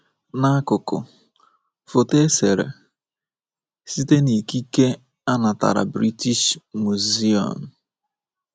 N’akụkụ: Foto e sere site n’ikike a natara British Museum.